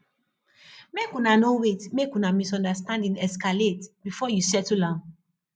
make you no wait make una misunderstanding escalate before you settle am